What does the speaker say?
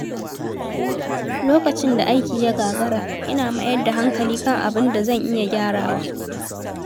Lokacin da aiki ya gagara, ina mayar da hankali kan abin da zan iya gyarawa.